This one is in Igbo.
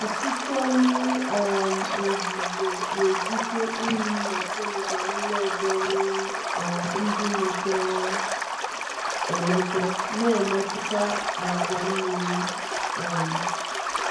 Ọsịsọ miri um ozuzo na-ebute unyi na kemịkal n'ime ọdọ mmiri um ndị mepere emepe, na-emetụta àgwà mmiri. um